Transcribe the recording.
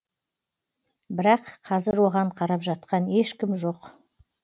бірақ қазір оған қарап жатқан ешкім жоқ